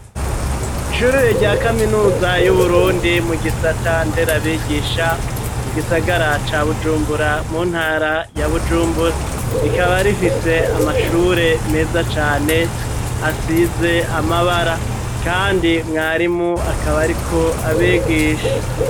Ishure rya kaminuza y'Uburundi mu gisata nderabigisha mu gisagara ca Bujumbura mu ntara ya Bujumbura rikaba rifise amashure meza cane asize amabara kandi mwarimu akaba ariko abigisha